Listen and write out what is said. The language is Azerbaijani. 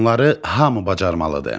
Bunları hamı bacarmalıdır.